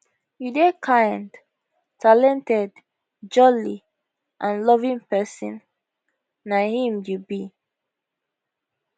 you dey kind talented jolly and loving person na him you be